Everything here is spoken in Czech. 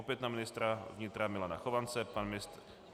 Opět na ministra vnitra Milana Chovance.